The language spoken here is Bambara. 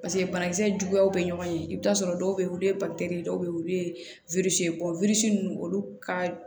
paseke banakisɛ juguyaw be ɲɔgɔn ye i be t'a sɔrɔ dɔw be ye olu ye dɔw be ye olu ye bɔ nunnu olu ka